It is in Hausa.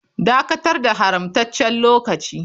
Dakatar da haramtaccen lokaci.